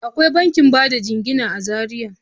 Akwai bankin bada jingina a Zariya.